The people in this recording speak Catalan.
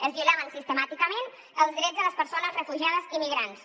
es violaven sistemàticament els drets de les persones refugiades immigrants